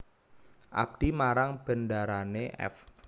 Abdi marang bendarane f